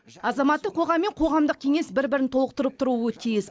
азаматтық қоғам мен қоғамдық кеңес бір бірін толықтырып тұруы тиіс